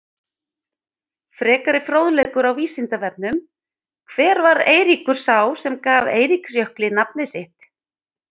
Frekari fróðleikur á Vísindavefnum: Hver var Eiríkur sá sem gaf Eiríksjökli nafnið sitt?